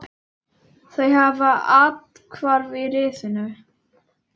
Þau hafa athvarf í risinu.